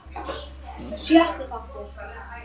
Sjötti þáttur